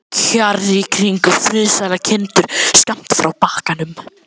Kjarr í kring, og friðsælar kindur skammt frá bakkanum.